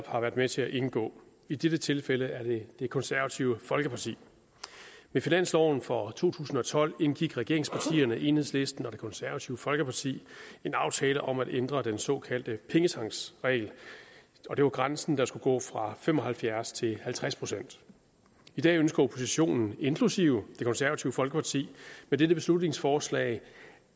har været med til at indgå i dette tilfælde er det det konservative folkeparti ved finansloven for to tusind og tolv indgik regeringspartierne enhedslisten og det konservative folkeparti en aftale om at ændre den såkaldte pengetanksregel og det var grænsen der skulle gå fra fem og halvfjerds procent til halvtreds procent i dag ønsker oppositionen inklusive det konservative folkeparti med dette beslutningsforslag